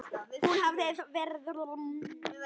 Hún hefur verið ónothæf síðan.